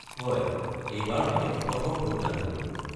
হয়, এইবাৰ মই প্ৰথম ভোটদান কৰিম।